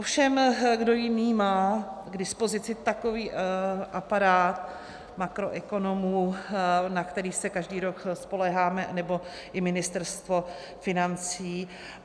Ovšem, kdo jiný má k dispozici takový aparát makroekonomů, na který se každý rok spoléháme, nebo i Ministerstvo financí.